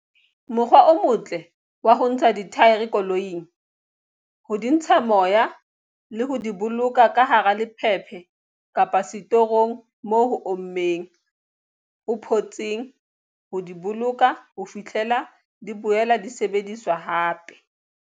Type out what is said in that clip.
Mokgwa o motle ke wa ho ntsha dithaere koloing, ho di ntsha moya le ho di boloka ka hara lephephe kapa setorong moo ho ommeng, ho photseng, ho di boloka ho fihlela di boela di sebediswa hape.